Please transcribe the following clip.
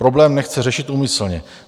Problém nechce řešit úmyslně.